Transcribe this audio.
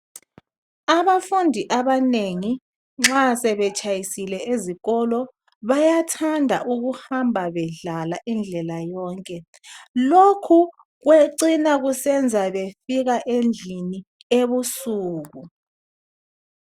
Abafundi abanengi nxa sebetshayisile ezikolo bayathanda ukuhamba bedlala indlela yonke, lokhu kwecina kusenza befika endlini ebusuku